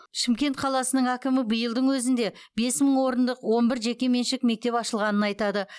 шымкент қаласының әкімі биылдың өзінде бес мың орындық он бір жекеменшік мектеп ашылғанын айтады